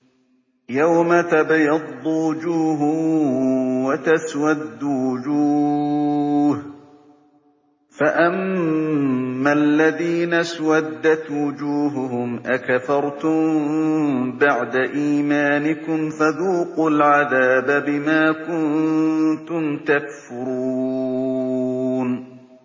يَوْمَ تَبْيَضُّ وُجُوهٌ وَتَسْوَدُّ وُجُوهٌ ۚ فَأَمَّا الَّذِينَ اسْوَدَّتْ وُجُوهُهُمْ أَكَفَرْتُم بَعْدَ إِيمَانِكُمْ فَذُوقُوا الْعَذَابَ بِمَا كُنتُمْ تَكْفُرُونَ